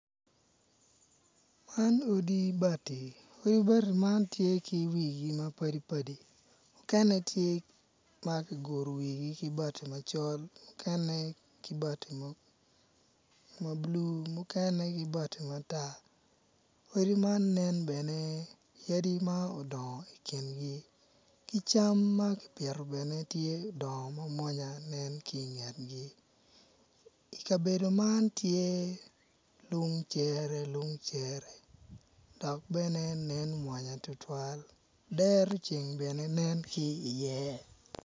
Man odi bati ma tye ki wigi mapadipadi mukene kiguru wigi ki bati macol mukene ki bati mabulu mukene ki bati matar odi man bene nen yadi ma odongo i kingi ki cam mamwonya bene nen ki i ngetgi kabedo man tye lung cere lung cere dok bene nen mwonya tutwal dero ceng benen nen ki i ye.